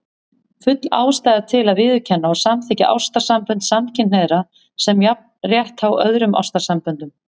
Full ástæða er til að viðurkenna og samþykkja ástarsambönd samkynhneigðra sem jafnrétthá öðrum ástarsamböndum.